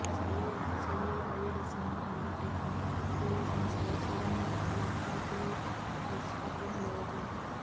Sai celluloid cinematic creations పై చరణ్ లక్కాకుల దర్శకత్వం లో డా